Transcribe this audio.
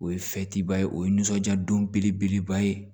O ye o ye nisɔndiya don belebeleba ye